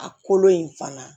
A kolo in fana